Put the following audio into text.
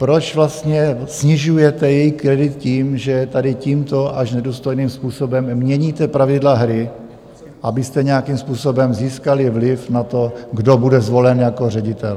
Proč vlastně snižujete její kredit tím, že tady tímto až nedůstojným způsobem měníte pravidla hry, abyste nějakým způsobem získali vliv na to, kdo bude zvolen jako ředitel?